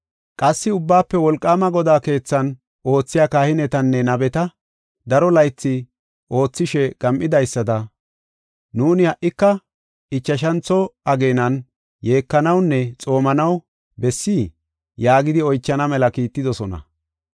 Qassi Ubbaafe Wolqaama Godaa keethan oothiya kahinetanne nabeta, “Daro laythi oothishe gam7idaysada nuuni ha77ika ichashantho ageenan yeekanawunne xoomanaw bessii?” yaagidi oychana mela kiittidosona.